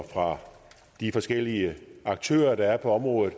de forskellige aktører der er på området